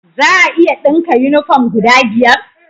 Za a iya dinka uniform guda biyar?